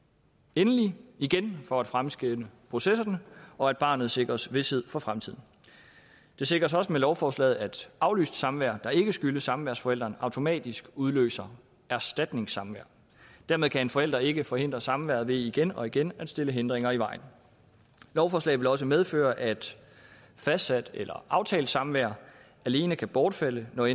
endelige igen for at fremskynde processerne og at barnet sikres vished for fremtiden det sikres også med lovforslaget at aflyst samvær der ikke skyldes samværsforælderen automatisk udløser erstatningssamvær dermed kan en forælder ikke forhindre samværet ved igen og igen at stille hindringer i vejen lovforslaget vil også medføre at fastsat eller aftalt samvær alene kan bortfalde når